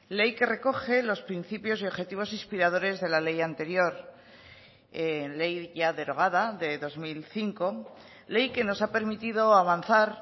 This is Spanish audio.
ley que recoge los principios y objetivos inspiradores de la ley anterior ley ya derogada de dos mil cinco ley que nos ha permitido avanzar